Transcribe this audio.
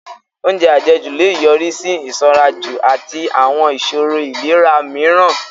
Oúnjẹ àjẹjù lè yọrí sí ìsanranjù àti àwọn ìṣòro ìlera mìíràn